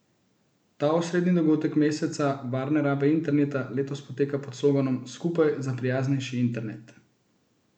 Ta osrednji dogodek meseca varne rabe interneta letos poteka pod sloganom Skupaj za prijaznejši internet!